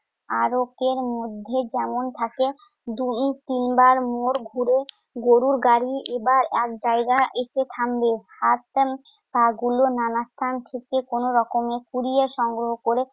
আরকের মধ্যে যেমন থাকে। দুই তিনবার মোড় ঘুরে গরুর গাড়ি এবার এক জায়গায় এসে থামবে। পাগুলো নানা স্থান থেকে কোনরকমে কুড়িয়ে সংগ্রহ করে